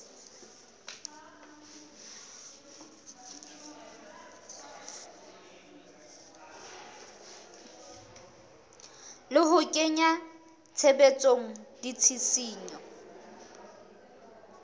le ho kenya tshebetsong ditshisinyo